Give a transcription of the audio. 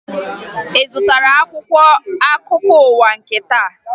Ị zụtara akwụkwọ akụkọ ụwa nke taa?